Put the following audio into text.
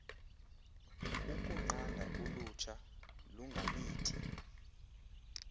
ukunqanda ulutsha lungamithi